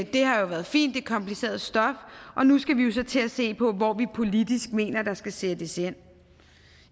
det har jo været fint det er kompliceret stof og nu skal vi så til at se på hvor vi politisk mener der skal sættes ind